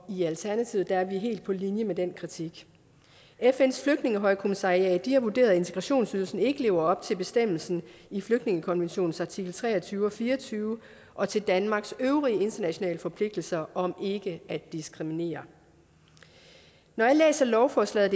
i alternativet er vi helt på linje med den kritik fns flygtningehøjkommissariat har vurderet at integrationsydelsen ikke lever op til bestemmelsen i flygtningekonventionens artikel tre og tyve og fire og tyve og til danmarks øvrige internationale forpligtelser om ikke at diskriminere når jeg læser lovforslaget